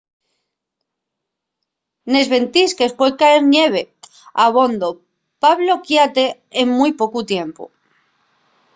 nes ventisques pue cayer ñeve abondo pa bloquiate en mui pocu tiempu